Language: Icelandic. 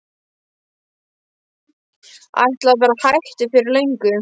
Ætlaði að vera hættur fyrir löngu.